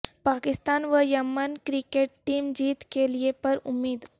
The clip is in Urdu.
پاکستان ویمن کرکٹ ٹیم جیت کے لیے پر امید